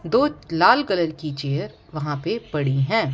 दो लाल कलर की चेयर वहां पे पड़ी हैं।